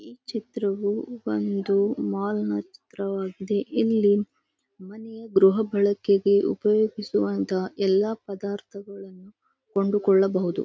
ಈ ಚಿತ್ರವು ಒಂದು ಮಾಲ್ ನ ಚಿತ್ರವಾಗಿದೆ ಇಲ್ಲಿ ಮನೆಯ ಗೃಹಭಳಕೆಗೆ ಉಪಯೋಗಿಸುವಂಥ ಎಲ್ಲ ಪದಾರ್ಥಗಳನ್ನು ಕೊಂಡುಕೊಳ್ಳಬಹದು.